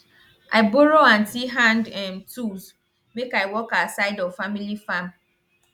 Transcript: i borrow aunty hand um tools make i work our side of family farm